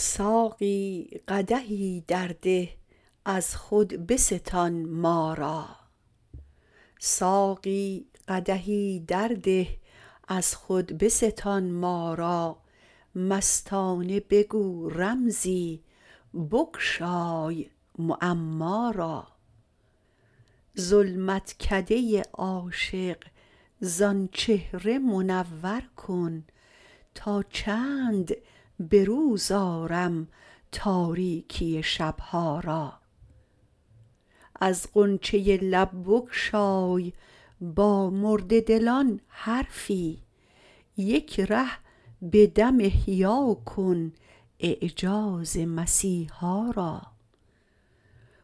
ساقی قدحی در ده از خود بستان ما را مستانه بگو رمزی بگشای معما را ظلمتکده عاشق زان چهره منور کن تا چند به روز آرم تاریکی شبها را از غنچه لب بگشای با مرده دلان حرفی یک ره به دم احیاکن اعجاز مسیحا را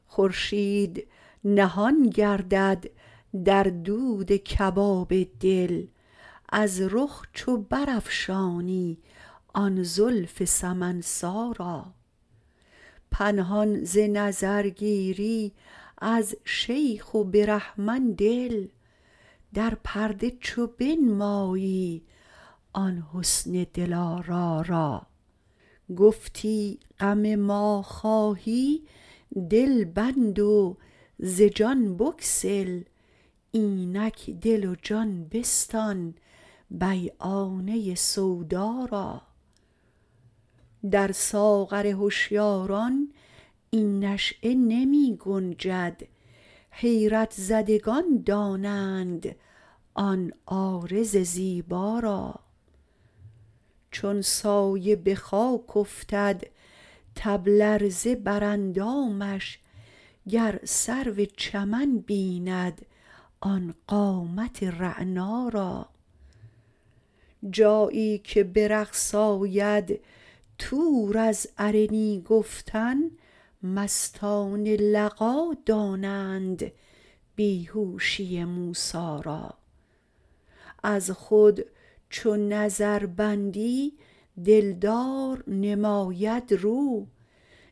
خورشید نهان گردد در دود کباب دل از رخ چو برافشانی آن زلف سمن سا را پنهان ز نظر گیری از شیخ و برهمن دل در پرده چو بنمایی آن حسن دلارا را گفتی غم ما خواهی دل بند و ز جان بگسل اینک دل و جان بستان بیعانه سودا را در ساغر هشیاران این نشیه نمی گنجد حیرت زدگان دانند آن عارض زیبا را چون سایه به خاک افتد تب لرزه بر اندامش گر سرو چمن بیند آن قامت رعنا را جایی که به رقص آید طور از ارنی گفتن مستان لقا دانند بیهوشی موسا را از خود چو نظر بندی دلدار نماید رو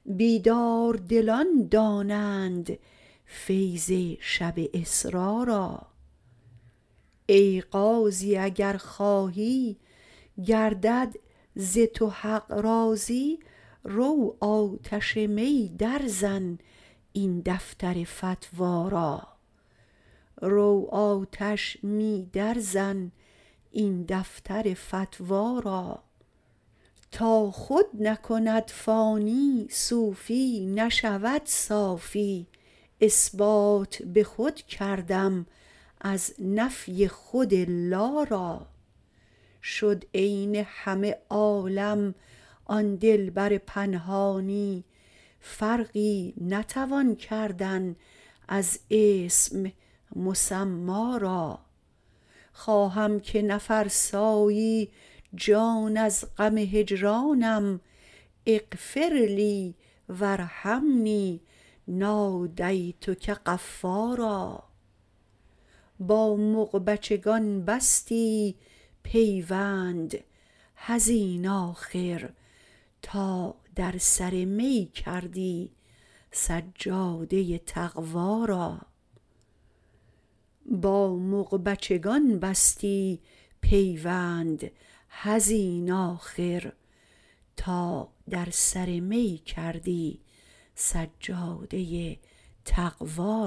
بیدار دلان دانند فیض شب اسرا را ای قاضی اگر خواهی گردد ز تو حق راضی روآتش می در زن این دفتر فتوا را تا خود نکند فانی صوفی نشود صافی اثبات به خود کردم از نفی خود الا را شد عین همه عالم آن دلبر پنهانی فرقی نتوان کردناز اسم مسما را خواهم که نفرسایی جان از غم هجرانم اغفرلی و ارحمنی نادیتک غفا را با مغبچگان بستی پیوند حزین آخر تا در سر می کردی سجاده تقوا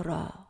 را